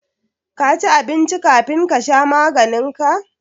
Ka ci abinci kafin ka sha maganin ka